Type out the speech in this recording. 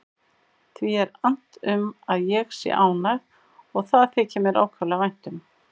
Því er annt um að ég sé ánægð og það þykir mér ákaflega vænt um.